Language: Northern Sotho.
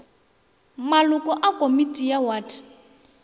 maloko a komiti ya wate